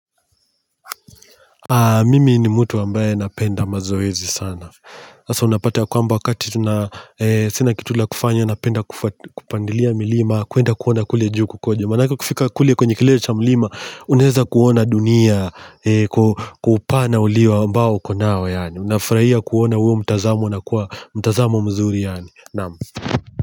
Mimi ni mtu ambaye napenda mazoezi sana Asa unapata ya kwamba wakati sina kitu la kufanya napenda kupandilia milima kuenda kuona kule juu kukoje Manaka ukifika kule kwenye kilele cha milima Unaeza kuona dunia kwa upana ambao uko nao yani unafurahia kuona uwo mtazamo unakuwa mtazamo mzuri.